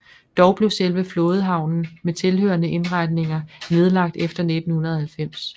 Dog blev selve flådehavnen med tilhørende indretninger nedlagt efter 1990